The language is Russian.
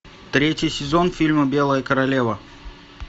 третий сезон фильма белая королева